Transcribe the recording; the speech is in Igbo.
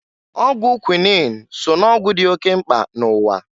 Ọgwụ kwuinin so n'ọgwụ dị oke mkpa n'ụwa.